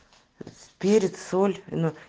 перец соль ну